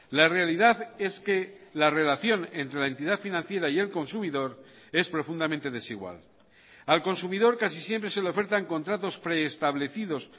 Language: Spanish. la realidad es que la relación entre la entidad financiera y el consumidor es profundamente desigual al consumidor casi siempre se le ofertan contratos preestablecidos